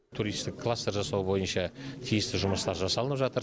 туристік кластер жасау бойынша тиісті жұмыстар жасалынып жатыр